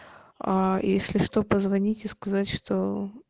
если что позвонить и сказать что